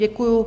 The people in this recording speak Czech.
Děkuju.